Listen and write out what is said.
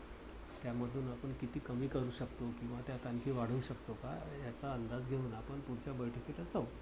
त्यामधून आपण किती कमी करू शकतो किंवा त्यात आणखी वाढवू शकतो का? याचा अंदाज घेऊन आपण पुढच्या बैठकीला जावू.